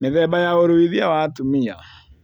Mĩthemba ya ũruithia wa atumia